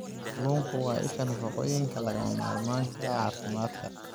Kalluunku waa isha nafaqooyinka lagama maarmaanka u ah caafimaadka.